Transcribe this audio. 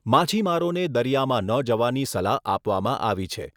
માછીમારોને દરિયામાં ન જવાની સલાહ આપવામાં આવી છે.